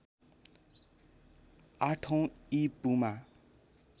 आठौँ ई पूमा